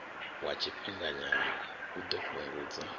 wa tshifhinganyana u ḓo fhungudza